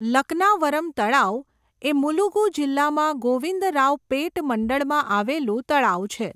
લક્નાવરમ તળાવ એ મુલુગુ જિલ્લામાં ગોવિંદરાવપેટ મંડળમાં આવેલું તળાવ છે.